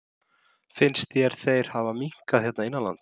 Finnst þér þeir hafa minnkað hér innanlands?